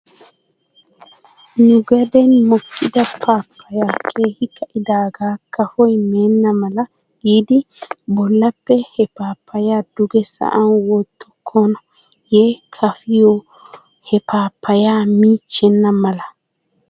Nu gaden mokkida paapayay keehi ka'idaaga kafoy meenna mala giidi bollappe he paapayaa duge sa'an wottokkonaaye kafiyo he paapayaa miichchenna mala?